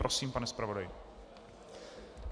Prosím, pane zpravodaji.